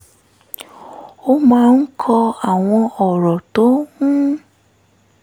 ó máa ń kọ àwọn ọ̀rọ̀ tó ń